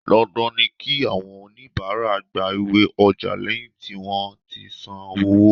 Dandan ni kí àwọn onibaara gba iwé ọjà lẹ́yìn tí wón ti san owó.